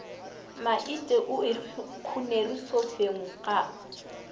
maite o ikgonere sofeng ga